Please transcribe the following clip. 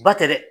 Ba tɛ dɛ